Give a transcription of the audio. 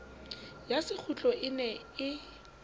ya sekgutlo e ne e